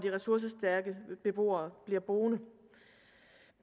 ressourcestærke beboere bliver boende